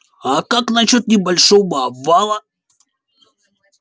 а как насчёт небольшого обвала